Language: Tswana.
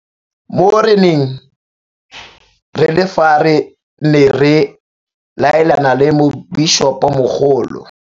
Mo re neng re le fa re ne re laelana le Mobišopomogolo.